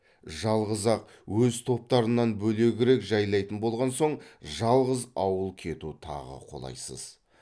жалғыз ақ өз топтарынан бөлегірек жайлайтын болған соң жалғыз ауыл кету тағы қолайсыз